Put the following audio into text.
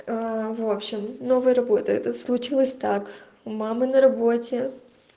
в общем новый работа это случилось так у мамы на работе